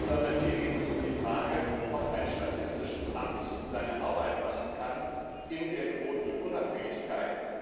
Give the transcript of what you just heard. Sondern hier geht es um die Frage, ob ein statistisches Amt seine Arbeit machen kann in der gebotenen Unabhängigkeit.